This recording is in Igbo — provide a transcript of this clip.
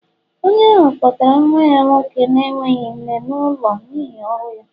Onye ahụ kpọtara nwa ya nwoke na-enweghị nne n'ụlọ n'ihi ọrụ ya